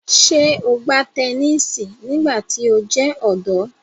Ṣe o gba tẹnisi nigbati o jẹ ọdọ?